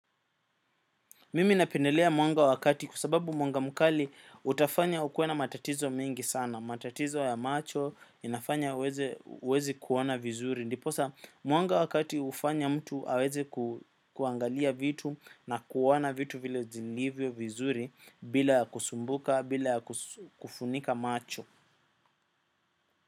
Mimi napendelea mwanga wa kati kwa sababu mwanga mkali utafanya ukuwe na matatizo mingi sana. Matatizo ya macho inafanya uwezi kuona vizuri. Ndiposa mwanga wa kati ufanya mtu aweze kuangalia vitu na kuwana vitu vile zilivyo vizuri bila kusumbuka, bila kufunika macho.